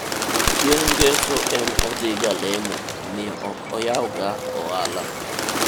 chieng' ngeso en odhi ga lemo omiyo ok oyaw ga ohala